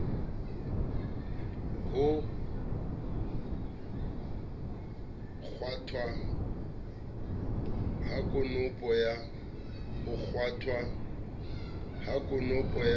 ho kgwathwa ha konopo ya